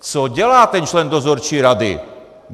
Co dělá ten člen dozorčí rady?